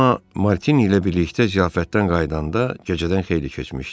Cemma Martini ilə birlikdə ziyafətdən qayıdanda gecədən xeyli keçmişdi.